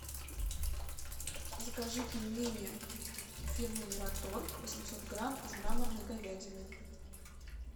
закажи пельмени фирмы мираторг восемьсот грамм из мраморной говядины